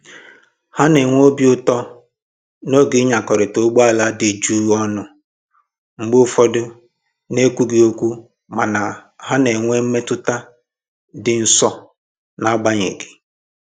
Ha na-enwe obi ụtọ n'oge ịnyakọrịta ụgbọ ala dị jụụ ọnụ, mgbe ụfọdụ na ekwughị okwu mana ha na-enwe mmetụta ịdị nso na agbanyeghị